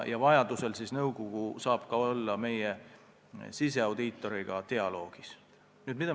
Vajadusel saab nõukogu meie siseaudiitoriga dialoogi pidada.